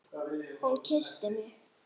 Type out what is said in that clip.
Hún kyssti mig!